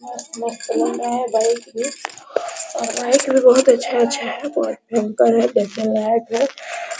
बहुत मस्त लग रहा है बाइक भी और बाइक भी बहुत अच्छा अच्छा है बहुत भयंकर है बढ़िया बाइक है ।